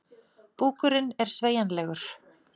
Búkurinn er sveigjanlegur.